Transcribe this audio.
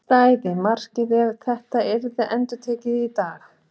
Stæði markið ef þetta yrði endurtekið í dag?